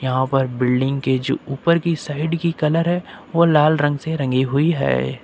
यहां पर बिल्डिंग के जो उपर की साइड की कलर है वो लाल रंग से रंगी हुई है।